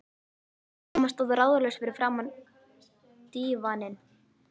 Mamma stóð ráðalaus fyrir framan dívaninn.